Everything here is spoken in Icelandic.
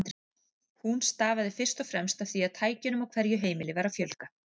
Hún stafaði fyrst og fremst af því að tækjunum á hverju heimili var að fjölga.